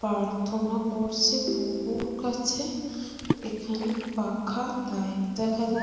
প্রার্থনা করছে প্রভুর কাছে এখানে পাখা লাইট দেখা যা--